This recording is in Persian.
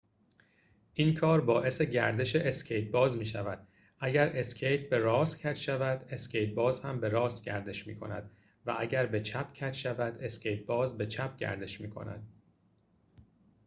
این کار باعث گردش اسکیت‌باز می‌شود اگر اسکیت به راست کج شود اسکیت‌باز هم به راست گردش می‌کند و اگر به چپ کج شود اسکیت‌باز به چپ گردش می‌کند